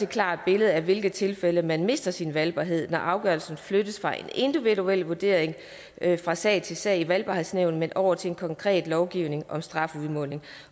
klart billede af i hvilke tilfælde man mister sin valgbarhed når afgørelsen flyttes fra en individuel vurdering fra sag til sag i valgbarhedsnævnet over til en konkret lovgivning om strafudmåling